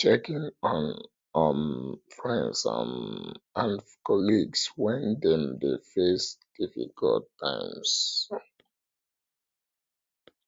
check in on um friends um and colleagues when dem dey face difficult times